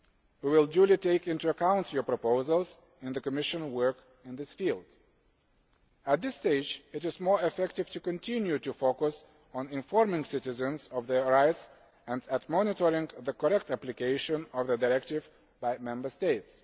We will duly take into account your proposals in the Commission work in this field. At this stage, it is more effective to continue to focus on informing citizens of their rights and monitoring the correct application of the directive by Member States.